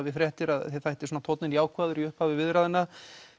við fréttir að þér þætti tónninn jákvæður í upphafi viðræðna